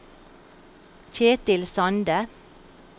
Kjetil Sande